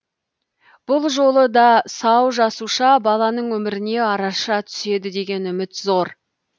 бұл жолы да сау жасуша баланың өміріне араша түседі деген үміт зор